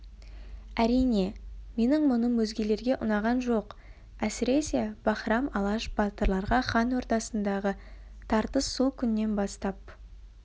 әрине менің мұным өзгелерге ұнаған жоқ әсіресе баһрам алаш батырларға хан ордасындағы тартыс сол күннен бастап